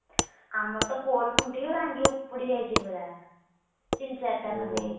ଆମର ତ poll ଖୁଣ୍ଟି ବି ଭାଙ୍ଗି ଉପୁଡି ଯାଇଛି ପୁରା ତିନି ଚାରିଟା ଖଣ୍ଡେ,